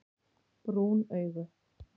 Brún augu